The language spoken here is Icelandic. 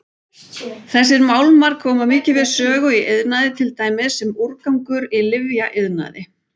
Þessir málmar koma mikið við sögu í iðnaði til dæmis sem úrgangur í lyfjaiðnaði.